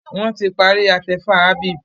wón tí parí atefa Habib